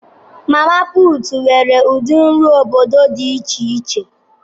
Mama putu nwere ụdị nri obodo dị iche iche.